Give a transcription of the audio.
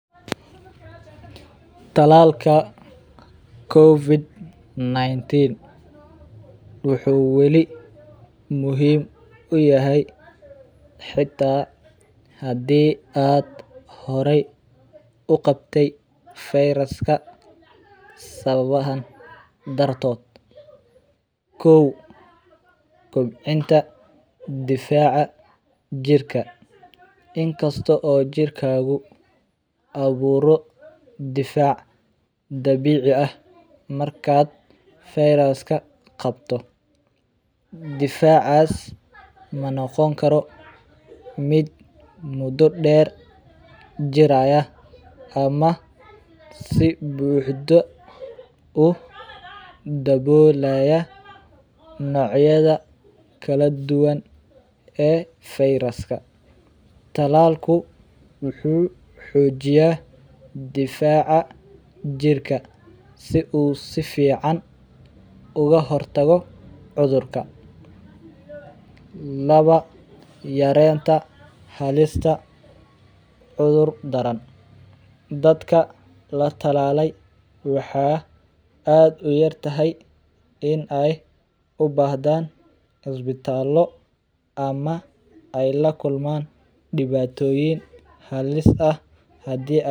Talallka covid 19 wuxuu wali muhiim uyahay xita hadi aad hore uqabte virus ka sawabaha dartod kow kobcinta difaca jirka inta aburo difac dabici ah markaad virus ka difacas manoqon karo miid mudo deer qadhanayo ama si buxdo u dabolaya nocyada Virus ka talalku wuxuu xojiya difacu jirka si u si fican uga hortago cudhurka lawa yarenta halista cudhur daran dadka la talale waxaa aad u yar tahay in ee u bahdan isbitalo ama ee la kulman diwatoyin halis ah hadii ee.